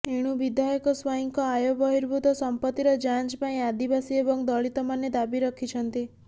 ଏଣୁ ବିଧାୟକ ସ୍ବାଇଁଙ୍କ ଆୟ ବହିର୍ଭୁତ ସଂପତ୍ତିର ଯାଞ୍ଚ ପାଇଁ ଆଦିବାସୀ ଏବଂ ଦଳିତମାନେ ଦାବି ରଖିଛନ୍ତି